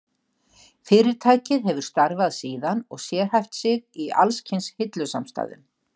Fyrirtækið hefur starfað síðan og sérhæft sig í alls kyns hillusamstæðum.